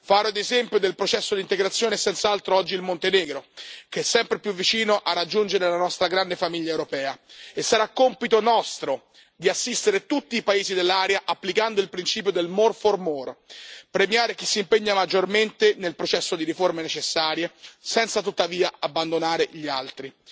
Faro ed esempio del processo di integrazione è senz'altro oggi il Montenegro, che è sempre più vicino a raggiungere la nostra grande famiglia europea, e sarà compito nostro assistere tutti i paesi dell'area, applicando il principio del more for more premiare chi si impegna maggiormente nel processo di riforme necessarie senza, tuttavia, abbandonare gli altri.